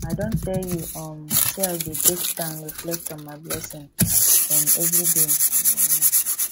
i don tell you um sey i dey take time reflect on my blessing um everyday um